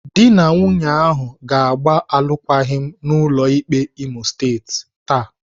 Dị na nwunye ahụ ga-agba alụkwaghịm n'ụlọ ikpe Imo State taa.